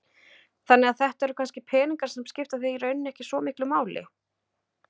Þannig að þetta eru kannski peningar sem skipta þig í rauninni ekki svo miklu máli?